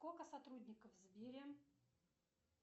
сколько сотрудников в сбере